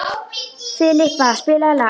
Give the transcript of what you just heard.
Filippa, spilaðu lag.